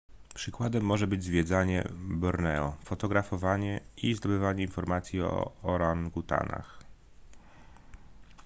przykładem może być zwiedzanie borneo fotografowanie i zdobywanie informacji o orangutanach